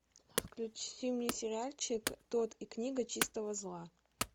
включи мне сериальчик тодд и книга чистого зла